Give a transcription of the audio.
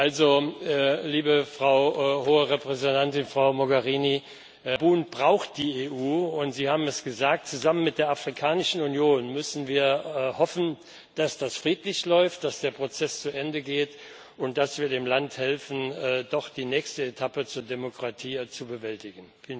Also, liebe Frau Hohe Vertreterin, Frau Mogherini, Gabun braucht die EU, und Sie haben es gesagt Zusammen mit der Afrikanischen Union müssen wir hoffen, dass das friedlich läuft, dass der Prozess zu Ende geht und dass wir dem Land helfen, doch die nächste Etappe zur Demokratie zu bewältigen.